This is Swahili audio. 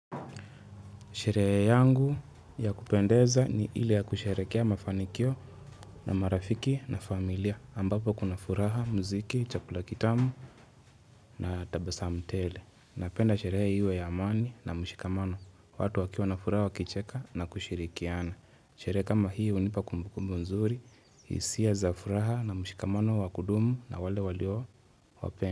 Sherehe yangu ya kupendeza ni ile ya kusherekea mafanikio na marafiki na familia ambapo kuna furaha, mziki, chakula kitamu na tabasamu tele. Napenda sherehe iwe ya amani na mshikamano, watu wakiwa na furaha wakicheka na kushirikiana. Sherehe kama hio hunipa kumbukumbu nzuri, hisia za furaha na mshikamano wa kudumu na wale walio wapenda.